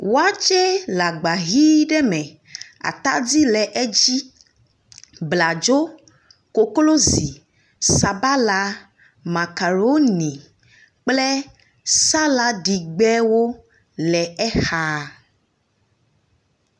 Wɔtsɛ le agba hi ɖe me atadi le edzi bladzo, koklozi, sabala makaloni, kple saladigbewo le exa.